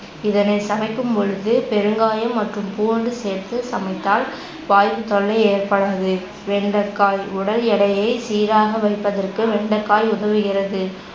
இதனை சமைக்கும்பொழுது பெருங்காயம் மற்றும் பூண்டு சேர்த்து சமைத்தால் வாய்வு தொல்லை ஏற்படாது. வெண்டைக்காய் உடல் எடையை சீராக வைப்பதற்கு வெண்டைக்காய் உதவுகிறது.